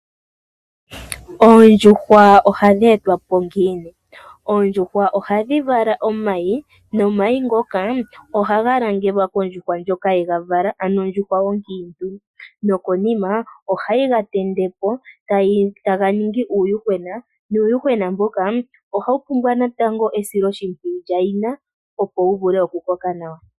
Oondjuhwa ohadhi etwapo ngiini? Oondjuhwa ohadhi vala nomayi nomayi ngoka ohaga langelwa kondjuhwa ndjoka yegavala ano ondjuhwa onkiintu. Nokonima ohayi gatendepo taga ningi uuyuhwena, uuyuhwena mboka ohawu pumbwa natango esiloshipwiyu lyayina, opo wuvule oku koka nawa.